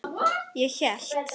Ég hélt.